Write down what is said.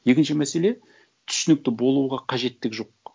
екінші мәселе түсінікті болуға қажеттік жоқ